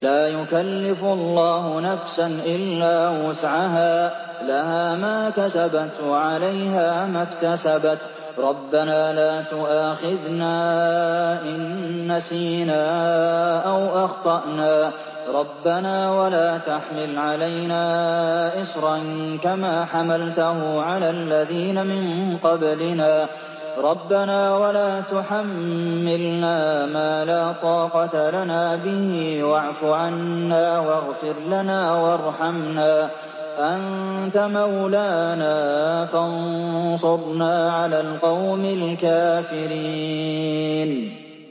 لَا يُكَلِّفُ اللَّهُ نَفْسًا إِلَّا وُسْعَهَا ۚ لَهَا مَا كَسَبَتْ وَعَلَيْهَا مَا اكْتَسَبَتْ ۗ رَبَّنَا لَا تُؤَاخِذْنَا إِن نَّسِينَا أَوْ أَخْطَأْنَا ۚ رَبَّنَا وَلَا تَحْمِلْ عَلَيْنَا إِصْرًا كَمَا حَمَلْتَهُ عَلَى الَّذِينَ مِن قَبْلِنَا ۚ رَبَّنَا وَلَا تُحَمِّلْنَا مَا لَا طَاقَةَ لَنَا بِهِ ۖ وَاعْفُ عَنَّا وَاغْفِرْ لَنَا وَارْحَمْنَا ۚ أَنتَ مَوْلَانَا فَانصُرْنَا عَلَى الْقَوْمِ الْكَافِرِينَ